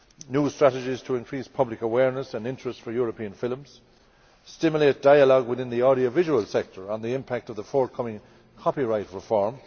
new strategies to increase public awareness and interest for European films and stimulate dialogue within the audiovisual sector on the impact of the forthcoming copyright reform